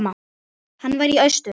Hann var í austur.